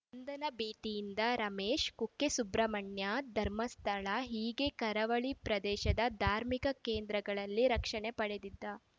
ಬಂಧನ ಭೀತಿಯಿಂದ ರಮೇಶ್‌ ಕುಕ್ಕೆ ಸುಬ್ರಹ್ಮಣ್ಯ ಧರ್ಮಸ್ಥಳ ಹೀಗೆ ಕರಾವಳಿ ಪ್ರದೇಶದ ಧಾರ್ಮಿಕ ಕೇಂದ್ರಗಳಲ್ಲಿ ರಕ್ಷಣೆ ಪಡೆದಿದ್ದ